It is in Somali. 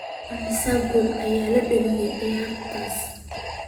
Immisa gool ayaa la dhaliyay ciyaartaas?